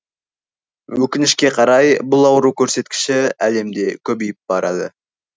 өкінішке қарай бұл ауру көрсеткіші әлемде көбейіп барады